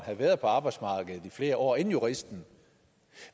have været på arbejdsmarkedet i flere år inden juristen